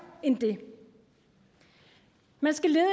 end det man skal lede